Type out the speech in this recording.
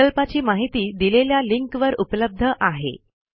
प्रकल्पाची माहिती दिलेल्या लिंकवर उपलब्ध आहे